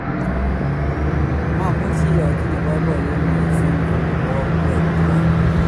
mamuch atinye boiboiyet musing' kou akwek tuwai